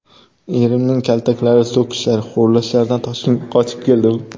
Erimning kaltaklari, so‘kishlari, xo‘rlashlaridan Toshkentga qochib keldim.